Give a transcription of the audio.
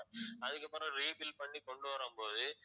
அதுக்கப்புறம் rebuild பண்ணி கொண்டு வரும்போது